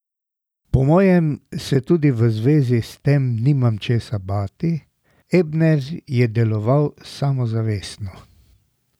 Po mojem se tudi v zvezi s tem nimam česa bati, Ebner je deloval samozavestno.